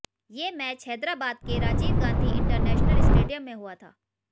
ये मैच हैदराबाद के Rajiv Gandhi international stadium में हुआ था